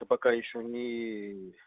да пока ещё ни